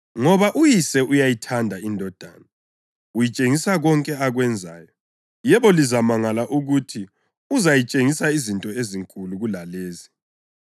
Ngoba uYise uyayithanda iNdodana, uyitshengisa konke akwenzayo. Yebo, lizamangala ukuthi uzayitshengisa izinto ezinkulu kulalezi.